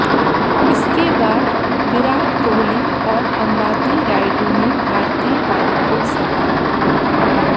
इसके बाद विराट कोहली और अंबाति रायडू ने भारतीय पारी को संभाला